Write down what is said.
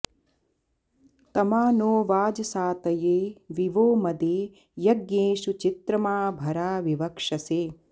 तमा नो॒ वाज॑सातये॒ वि वो॒ मदे॑ य॒ज्ञेषु॑ चि॒त्रमा भ॑रा॒ विव॑क्षसे